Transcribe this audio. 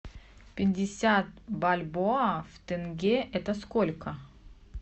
пятьдесят бальбоа в тенге это сколько